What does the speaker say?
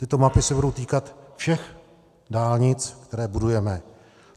Tyto mapy se budou týkat všech dálnic, které budujeme.